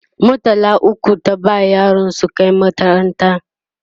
murtala ukwu ta ba yaran su Kai makaranta